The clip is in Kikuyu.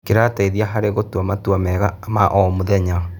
Kĩrateithia harĩ gũtua matua mega ma o mũthenya.